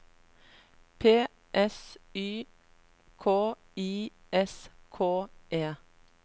P S Y K I S K E